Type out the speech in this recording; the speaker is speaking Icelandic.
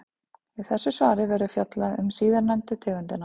Í þessu svari verður fjallað um síðarnefndu tegundina.